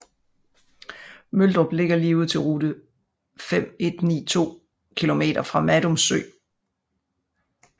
Møldrup ligger lige ud til Rute 519 2 km fra Madum Sø